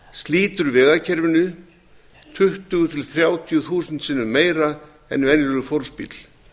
slítur vegakerfinu tuttugu til þrjátíu þúsund sinnum meira en venjulegur fólksbíll